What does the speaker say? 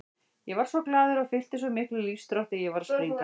Ég varð svo glaður og fylltist svo miklum lífsþrótti að ég var að springa.